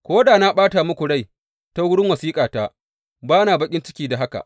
Ko da na ɓata muku rai ta wurin wasiƙata, ba na baƙin ciki da haka.